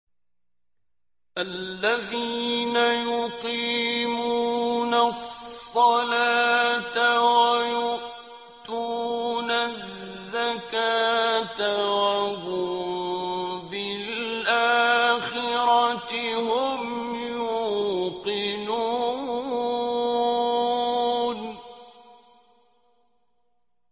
الَّذِينَ يُقِيمُونَ الصَّلَاةَ وَيُؤْتُونَ الزَّكَاةَ وَهُم بِالْآخِرَةِ هُمْ يُوقِنُونَ